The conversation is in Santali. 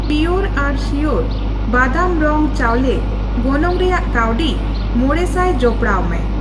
ᱯᱤᱭᱳᱨ ᱟᱨ ᱥᱤᱭᱳᱨ ᱵᱟᱫᱟᱢ ᱨᱚᱝ ᱪᱟᱣᱞᱮ ᱜᱚᱱᱚᱝ ᱨᱮᱭᱟᱜ ᱠᱟᱹᱣᱰᱤ ᱕00 ᱡᱚᱯᱚᱲᱟᱣᱢᱮ